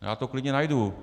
Já to klidně najdu.